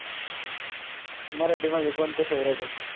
मराठी मध्ये कोनते favorite आहेत?